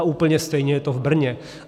A úplně stejně je to v Brně.